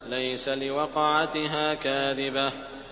لَيْسَ لِوَقْعَتِهَا كَاذِبَةٌ